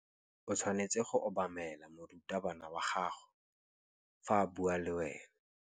O tshwanetse go obamela morutabana wa gago fa a bua le wena.